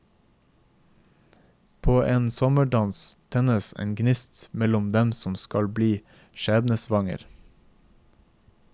På en sommerdans tennes en gnist mellom dem som skal bli skjebnesvanger.